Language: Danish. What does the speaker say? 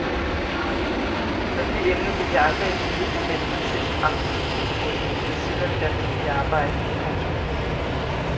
Men det emne ville jeg aldrig i livet have meldt mig til som aftenskolekursus ved siden af mit almindelige arbejde. punktum